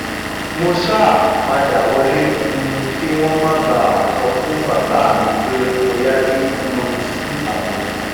mo ṣáà padà wọlé um kí wọn má bàa sọ fún bàbá mi pé mo yájú um sí àwọn